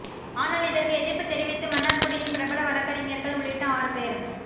ஆனால் இதற்கு எதிர்ப்பு தெரிவித்து மன்னார்குடியின் பிரபல வழக்கறிஞர்கள் உள்ளிட்ட ஆறு பேர்